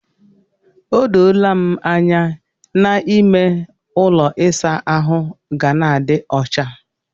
O doola m anya na ime ụlọ ịsa ahụ ga na-adi ọcha.